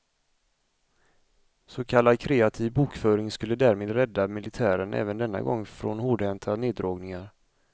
Så kallad kreativ bokföring skulle därmed rädda militären även denna gång från hårdhänta neddragningar.